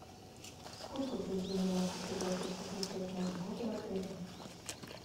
сколько друзей я могу пригласить отмечать новый год в отеле